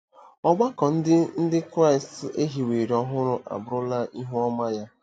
Ọgbakọ Ndị Ndị Kraịst e hiwere ọhụrụ abụrụla ihu ọma ya.